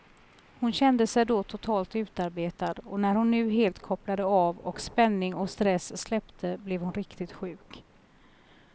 Hon kände sig då totalt utarbetad, och när hon nu helt kopplade av och spänning och stress släppte blev hon riktigt sjuk.